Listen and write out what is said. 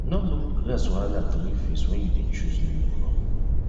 nor look grass wahala throway face wen you dey chose new crop